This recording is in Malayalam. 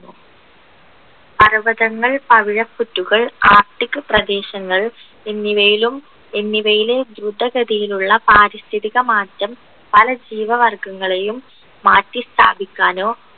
പർവ്വതകങ്ങൾ പവിഴപുറ്റുകൾ arctic പ്രദേശങ്ങൾ എന്നിവയിലും എന്നിവയിലെ ദ്രുതഗതിയിലുള്ള പാരിസ്ഥിതിക മാറ്റം പല ജീവവർഗങ്ങളെയും മാറ്റി സ്ഥാപിക്കാനോ